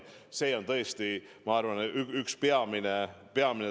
See tõesti, ma arvan, on üks peamisi sõnumeid.